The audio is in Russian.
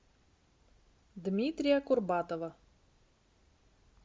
дмитрия курбатова